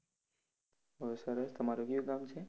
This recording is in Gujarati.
બહુ સરસ તમારુ કયું ગામ છે?